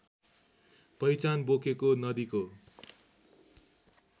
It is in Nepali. पहिचान बोकेको नदीको